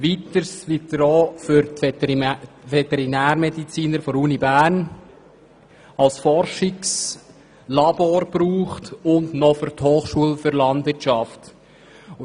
Weiter dient er den Veterinärmedizinern der Uni Bern als Forschungslabor und wird von der Hochschule für Agrar-, Forst- und Lebensmittelwissenschaften (HAFL) genutzt.